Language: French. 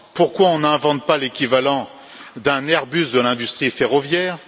Pourquoi n'invente t on pas l'équivalent d'un Airbus de l'industrie ferroviaire?